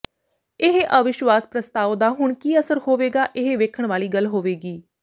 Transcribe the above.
ਇਹ ਅਵਿਸ਼ਵਾਸ਼ ਪ੍ਰਸਤਾਵ ਦਾ ਹੁਣ ਕਿ ਅਸਰ ਹੋਵੇਗਾ ਇਹ ਵੇਖਣ ਵਾਲੀ ਗੱਲ ਹੋਵੇਗੀ